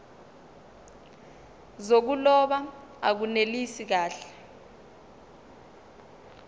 zokuloba akunelisi kahle